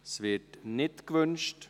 Das Wort wird nicht gewünscht.